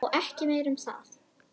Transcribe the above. Og ekki meira um það.